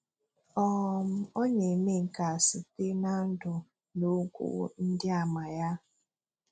um Ó ná-èmé nké á sítè ná ndú ná òkwú ndí àmà ya.